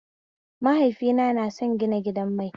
Mahaifina na son gina gidan mai